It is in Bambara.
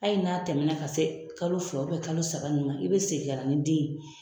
Hali n'a tɛmɛ na ka se kalo fila kalo saba ninnu ma i bɛ segin ka na ni den ye.